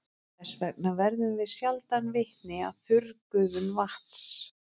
Þess vegna verðum við sjaldan vitni að þurrgufun vatns.